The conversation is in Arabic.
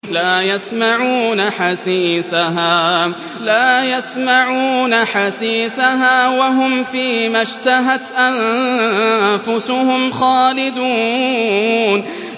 لَا يَسْمَعُونَ حَسِيسَهَا ۖ وَهُمْ فِي مَا اشْتَهَتْ أَنفُسُهُمْ خَالِدُونَ